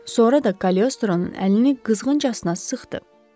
Sonra da Kaliostronun əlini qızğıncasına sıxdı.